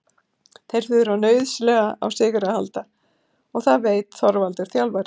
Þeir þurfa nauðsynlega á sigri að halda og það veit Þorvaldur þjálfari.